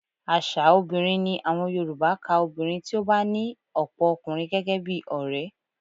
Aṣa obìnrin ni àwọn Yorùbá ka obìnrin tí ó bá ní ọ̀pọ̀ ọkùnrin gẹ́gẹ́ bí ọrẹ